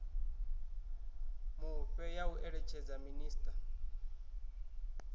mufhe ya u eletshedza minisiṱa